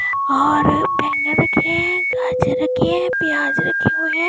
ओर बैगन के गाजर के प्याज रखे हुए है।